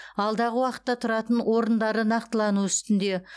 алдағы уақытта тұратын орындары нақтылану үстінде